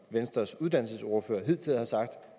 venstres uddannelsesordfører hidtil har sagt